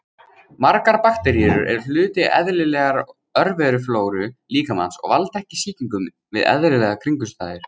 Margar bakteríur eru hluti eðlilegrar örveruflóru líkamans og valda ekki sýkingum við eðlilegar kringumstæður.